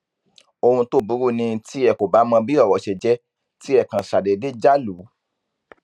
ohun tó burú ni tí ẹ kò bá mọ bí ọrọ ṣe jẹ tí ẹ kàn ṣàdédé já lù ú